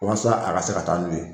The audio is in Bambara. O waasa a ka se ka taa n'o ye.